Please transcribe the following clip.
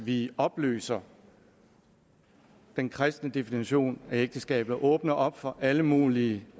vi opløser den kristne definition af ægteskabet og åbner op for alle mulige